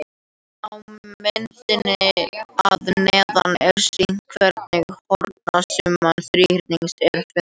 Á myndinni að neðan er sýnt hvernig hornasumma þríhyrnings er fundin.